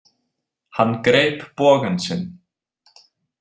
Hann greip bogann sinn.